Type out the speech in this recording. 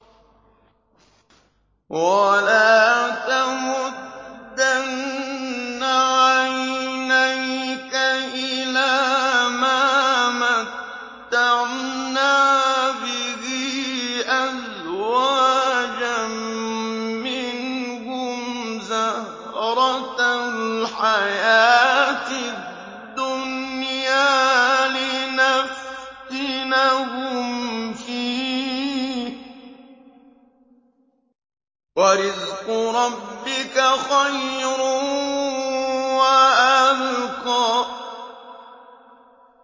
وَلَا تَمُدَّنَّ عَيْنَيْكَ إِلَىٰ مَا مَتَّعْنَا بِهِ أَزْوَاجًا مِّنْهُمْ زَهْرَةَ الْحَيَاةِ الدُّنْيَا لِنَفْتِنَهُمْ فِيهِ ۚ وَرِزْقُ رَبِّكَ خَيْرٌ وَأَبْقَىٰ